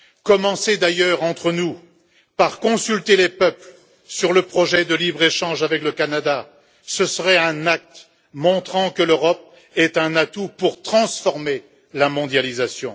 Commencez d'ailleurs, entre nous, par consulter les peuples sur le projet de libre échange avec le Canada ce serait un acte montrant que l'Europe est un atout pour transformer la mondialisation.